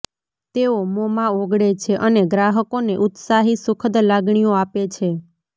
તેઓ મોંમાં ઓગળે છે અને ગ્રાહકોને ઉત્સાહી સુખદ લાગણીઓ આપે છે